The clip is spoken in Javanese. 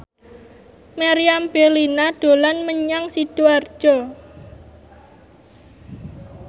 Meriam Bellina dolan menyang Sidoarjo